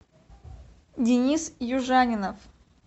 денис южанинов